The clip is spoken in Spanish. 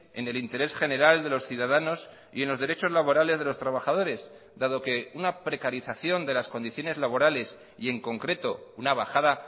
en el interés general de los ciudadanos y en los derechos laborales de los trabajadores dado que una precarización de las condiciones laborales y en concreto una bajada